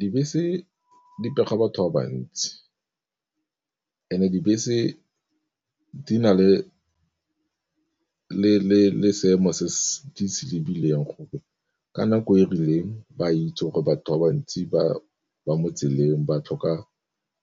Dibese di pega batho ba bantsi and-e dibese di na le seemo se se lebileng gore ka nako e rileng, ba itse gore batho ba bantsi ba mo tseleng ba tlhoka